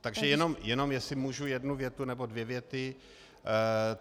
Takže jenom jestli můžu jednu větu nebo dvě věty.